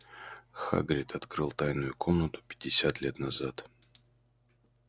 хагрид открыл тайную комнату пятьдесят лет назад